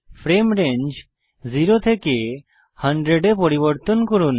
frame range 0 থেকে 100 এ পরিবর্তন করুন